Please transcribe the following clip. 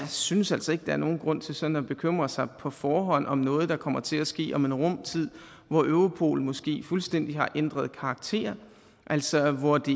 synes altså ikke der er nogen grund til sådan at bekymre sig på forhånd om noget der kommer til at ske om en rum tid hvor europol måske fuldstændig har ændret karakter altså hvor det